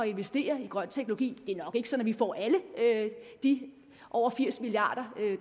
investere i grøn teknologi det er nok ikke sådan at vi får alle de over firs milliard